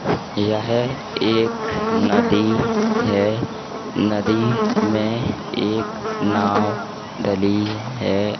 यह एक नदी है। नदी में एक नाव डली है।